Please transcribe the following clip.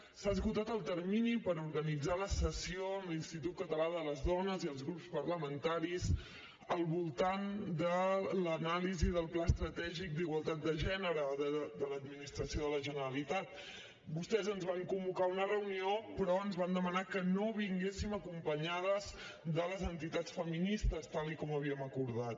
s’ha esgotat el termini per organitzar la sessió amb l’institut català de les dones i els grups parlamentaris al voltant de l’anàlisi del pla estratègic d’igualtat de gènere de l’administració de la generalitat vostès ens van convocar a una reunió però ens van demanar que no vinguéssim acompanyades de les entitats feministes tal com havíem acordat